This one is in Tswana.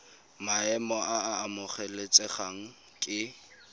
maemo a a amogelesegang ke